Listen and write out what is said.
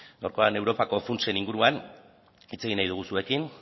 gaurkoan europako funtsen inguruan hitz egin nahi dugu zuekin